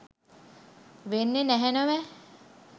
වෙන්නේ නැහැ නොවැ.